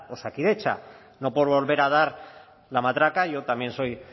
osakidetza no por volver a dar la matraca yo también soy